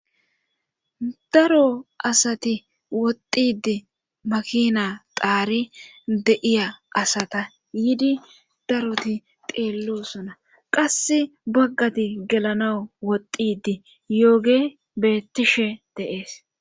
daro asati woxxidi makina xaari de7iya asata yiidi daroti teellosona qass baggati gelana woxidi yooge beettishe deees